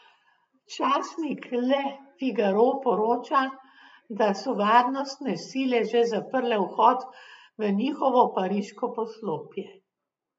Časnik Le Figaro poroča, da so varnostne sile že zaprle vhod v njihovo pariško poslopje.